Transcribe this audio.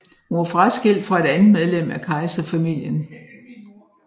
Hun var fraskilt fra et andet medlem af kejserfamilien